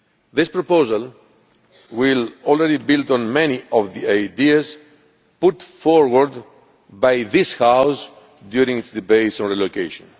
This proposal will already build on many of the ideas put forward by this House during its debates on relocation.